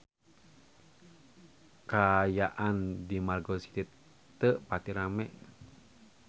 Kaayaan di Margo City teu pati rame